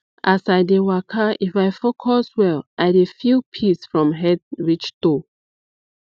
as i dey waka if i focus well i dey feel peace from head reach toe